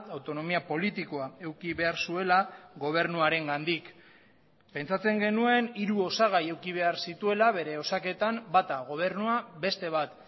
autonomia politikoa eduki behar zuela gobernuarengandik pentsatzen genuen hiru osagai eduki behar zituela bere osaketan bata gobernua beste bat